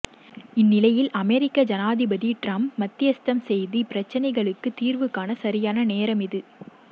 இந்நிலையில் அமெரிக்கா ஜனாதிபதி ட்ரம்ப் மத்தியஸ்தம் செய்து இப்பிரச்சிணைகளுக்கு தீர்வு காண சரியான நேரம் இது